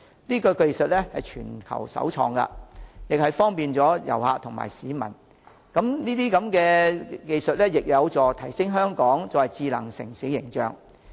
此技術為全球首創，方便旅客和市民之餘，亦有助提升香港智能城市的形象。